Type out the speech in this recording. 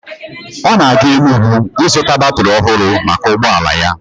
Ọ na-aga Enugwu ịzụta batrị ọhụrụ maka ụgbọala ya.